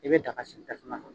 I bɛ daga sigi tasuma kan.